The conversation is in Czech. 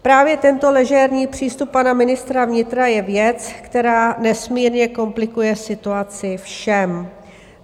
Právě tento ležérní přístup pana ministra vnitra je věc, která nesmírně komplikuje situaci všem.